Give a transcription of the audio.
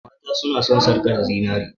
mata suna son sarkar zinare